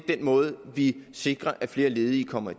den måde vi sikrer at flere ledige kommer